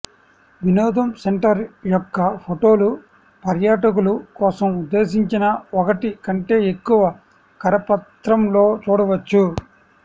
వినోదం సెంటర్ యొక్క ఫోటోలు పర్యాటకులు కోసం ఉద్దేశించిన ఒకటి కంటే ఎక్కువ కరపత్రం లో చూడవచ్చు